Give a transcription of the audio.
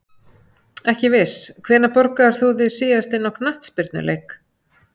Ekki viss Hvenær borgaðir þú þig síðast inn á knattspyrnuleik?